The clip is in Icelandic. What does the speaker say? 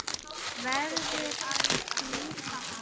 Verður að klífa hann.